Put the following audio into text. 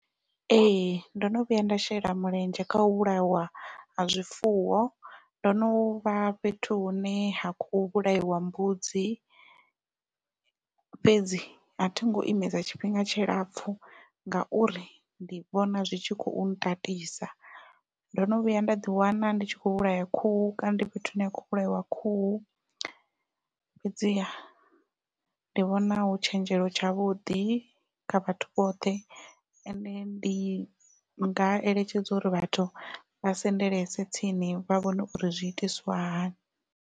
Ee ndo no vhuya nda shela mulenzhe kha u vhulaiwa ha zwifuwo ndo novha fhethu hune ha khou vhulaiwa mbudzi fhedzi athi ngo imesa tshifhinga tshilapfhu ngauri ndi vhona zwi tshi khou tatisa. Ndo no vhuya nda ḓi wana ndi tshi kho vhulaya khuhu kana ndi fhethu hune ya khou vhulaiwa khuhu fhedziha ndi vhona hu tshenzhelo tshavhuḓi kha vhathu vhoṱhe ende ndi nga eletshedza uri vhathu vha sendelese tsini vha vhone uri zwi itiswa hani.